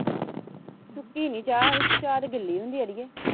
ਸੁੱਕੀ ਨਹੀਂ ਚਾਹ, ਚਾਹ ਤੇ ਗਿੱਲੀ ਹੁੰਦੀ ਅੜੀਏ